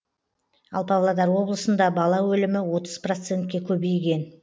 ал павлодар облысында бала өлімі отыз процентке көбейген